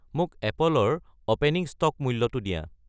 মোক এপলৰ opening stock মূল্যটো দিয়া